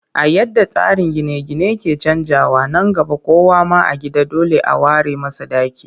A yadda tsarin gine-gine ke canjawa, nan gaba kowa ma a gida dole a ware masa ɗaki